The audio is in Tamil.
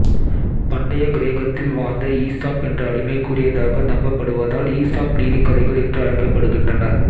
பண்டைய கிரேக்கத்தில் வாழ்ந்த ஈசாப் என்ற அடிமை கூறியதாக நம்பப்படுவதால் ஈசாப் நீதிக்கதைகள் என்று அழைக்கப்படுகின்றன